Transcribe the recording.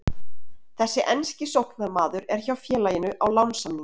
Þessi enski sóknarmaður er hjá félaginu á lánssamningi.